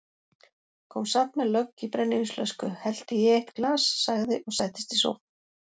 Kom samt með lögg í brennivínsflösku, hellti í eitt glas, sagði og settist í sófann